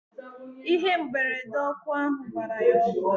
Ihe mberede ọkụ ahu gbara ya ọkụ